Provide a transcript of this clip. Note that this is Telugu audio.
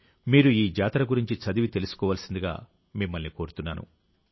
మీరు ఈ జాతర గురించి చదివి తెలుసుకోవలసిందిగా మిమ్మల్ని కోరుతున్నాను